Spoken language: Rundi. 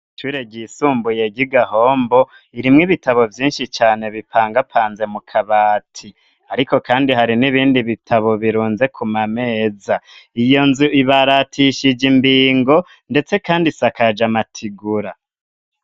Ishure ryisumbuye ryi Gahombo irimwo ibitabo vyinshi cane bipangapanze mu kabati, ariko kandi hari n'ibindi bitabo birunze ku mameza, iyo nzu ibaratishije imbingo ndetse kandi isakaje amatigura.